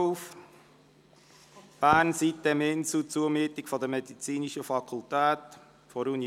«Bern, sitem-insel, Zumiete für die medizinische Fakultät der Universität Bern.